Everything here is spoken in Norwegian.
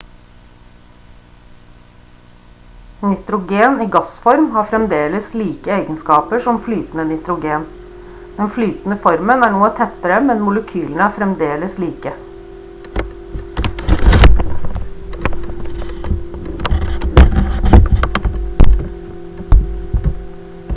nitrogen i gassform har fremdeles like egenskaper som flytende nitrogen den flytende formen er noe tettere men molekylene er fremdeles like